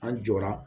An jɔra